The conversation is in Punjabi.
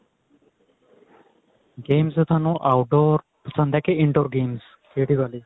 games ਤਾਂ ਤੁਹਾਨੂੰ outdoor ਪਸੰਦ ਏ ਕੀ indoor games ਕਿਹੜੀ ਵਾਲੀ